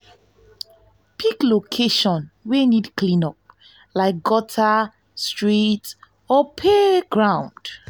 pick location wey need clean up like gutter street or playground.